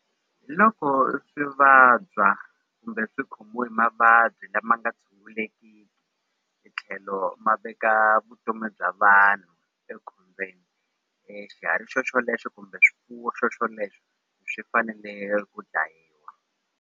Loko swi vabya kumbe swi khomiwe hi mavabyi lama nga tshungulekiki hi tlhelo ma veka vutomi bya vanhu ekhombyeni xiharhi xo xolexo kumbe swifuwo swo swoleswo swi fanele ku dlayiwa.